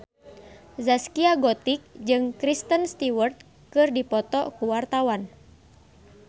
Zaskia Gotik jeung Kristen Stewart keur dipoto ku wartawan